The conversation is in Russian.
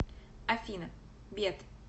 афина бет